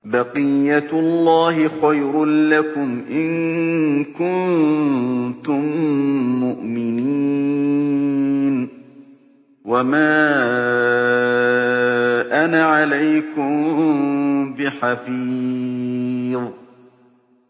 بَقِيَّتُ اللَّهِ خَيْرٌ لَّكُمْ إِن كُنتُم مُّؤْمِنِينَ ۚ وَمَا أَنَا عَلَيْكُم بِحَفِيظٍ